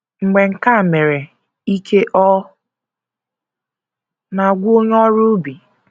Mgbe nke a mere, ike ọ̀ na - agwụ onye ọrụ ubi?